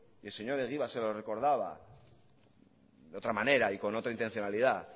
y el señor egibar se lo recordaba de otra manera y con otra intencionalidad